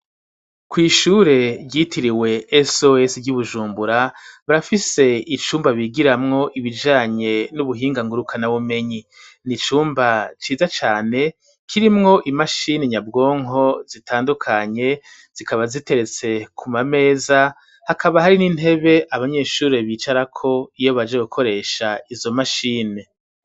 Kw'ishure ryitiriwe SOS ry'Ibujumbura, barafise icumba bigiramwo ibijanye n'ubuhinga ngurukana bumenyi. Ni icumba ciza cane kirimwo imashini nyabwonko zitandukanye, zikaba ziteretse kuma meza, hakaba hari n'intebe abanyeshure bicarako iyo baje gukoresha izo mashini.